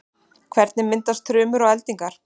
hvernig myndast þrumur og eldingar